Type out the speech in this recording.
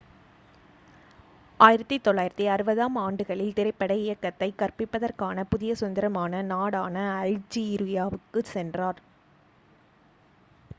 1960-ஆம் ஆண்டுகளில் திரைப்பட இயக்கத்தைக் கற்பிப்பதற்கான புதிய சுதந்திரமான நாடான அல்ஜீரியாவுக்குச் சென்றார்